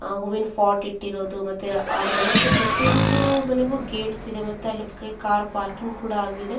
ಆಹ್ಹ್ ಹೂವಿನ ಪಾಟ್ ಇಟ್ಟಿರೋದು ಆಹ್ಹ್ ಮನೆಗೆ ಪ್ರತಿಯೊಂದು ಮನೆಗೆ ಗೇಟ್ಸ್ ಇದೆ ಮತ್ತೆ ಪಕಕೆ ಕಾರ್ ಪಾರ್ಕಿಂಗ್ ಕೂಡ ಆಗಿದೆ.